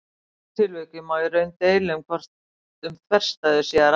Í þessu tilviki má í raun deila um hvort um þverstæðu sé að ræða.